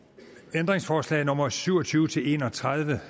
ændringsforslag nummer syv og tyve til en og tredive